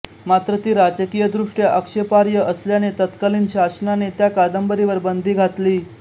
मात्र ती राजकीयदृष्ट्या आक्षेपार्ह असल्याने तत्कालीन शासनाने त्या कादंबरीवर बंदी घातली